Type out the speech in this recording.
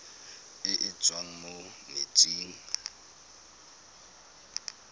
e e tswang mo metsing